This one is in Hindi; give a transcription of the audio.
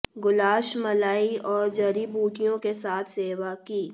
गुलाश मलाई और जड़ी बूटियों के साथ सेवा की